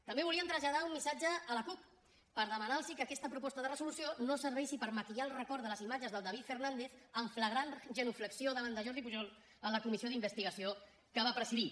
també volíem traslladar un missatge a la cup per demanar los que aquesta proposta de resolució no serveixi per maquillar el record de les imatges del david fernàndez en flagrant genuflexió davant de jordi pujol en la comissió d’investigació que va presidir